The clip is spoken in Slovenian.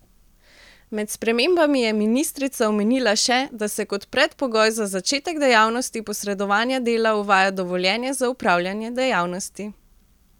Med spremembami je ministrica omenila še, da se kot predpogoj za začetek dejavnosti posredovanja dela uvaja dovoljenje za opravljanje dejavnosti.